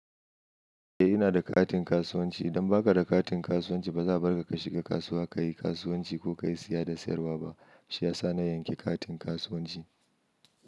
Eh ina da katin kasuwanci. Idan ba ka da katin kasuwanci ba za a bar ka ka shiga kasuwa, ka yi kasuwanci ko ka yi siya da sayarwa ba. Shi ya sa na yanki katin kasuwanci.